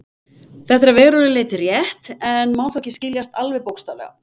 Þetta er að verulegu leyti rétt, en má þó ekki skiljast alveg bókstaflega.